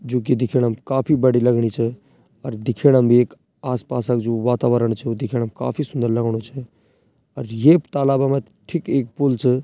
जू की दिखेणम काफी बड़ी लगणी च अर दिखेणम भी एक आस-पास क जू वातावरण छ वू दिखेणम काफी सुन्दर लगणु च अर ये तालाब मा ठीक एक पुल च।